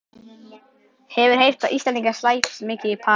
Hefur heyrt að Íslendingar slæpist mikið í París.